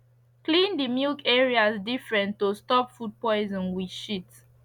clean de milk areas different to stop food poison with shit